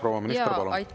Proua minister, palun!